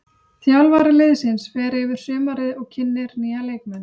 Þjálfari liðsins fer yfir sumarið og kynnir nýja leikmenn.